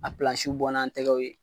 A bɔ n'an tɛgɛw ye.